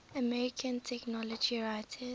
american technology writers